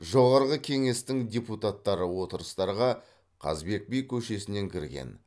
жоғарғы кеңестің депутаттары отырыстарға қазыбек би көшесінен кірген